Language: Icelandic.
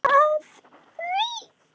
Af því að.